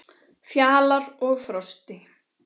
Fjalar og Frosti